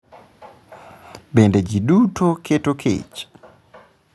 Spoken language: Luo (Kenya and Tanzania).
Bende ji duto keto kech?